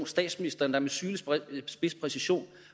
statsministeren der med sylespids præcision